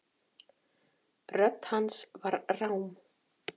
Rödd hans var rám.